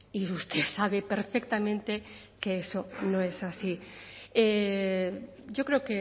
y usted sabe perfectamente que eso no es así yo creo